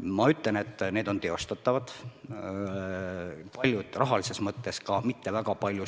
Ma ütlen, et need on teostatavad, paljud rahalises mõttes ka mitte väga palju